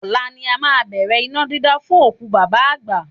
Ọ̀la ni a máa bẹ̀rẹ̀ iná dídá fún òkú bàbá àgbà